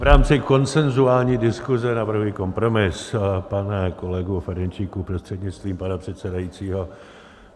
V rámci konsenzuální diskuse navrhuji kompromis, pane kolego Ferjenčíku prostřednictvím pana předsedajícího.